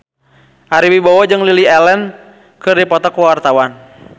Ari Wibowo jeung Lily Allen keur dipoto ku wartawan